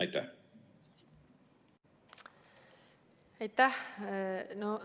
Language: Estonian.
Aitäh!